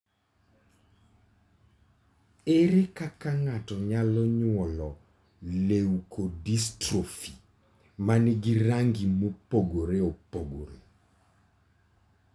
Ere kaka ng'ato nyalo nyuolo leukodystrophy ma nigi rangi mopogore opogore?